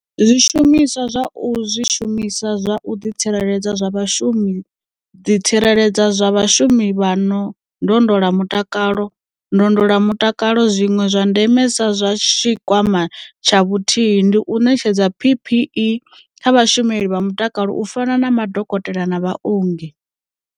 Zwishumiswa zwa u Zwishumiswa zwa u ḓitsireledza zwa vhashumi ḓitsireledza zwa vhashumi vha ndondolamutakalovha ndondolamutakalo zwiṅwe zwa ndemesa zwa Tshikwama tsha Vhuthihi ndi u ṋetshedza PPE kha vhashumeli vha mutakalo u fana na madokotela na vhaongi.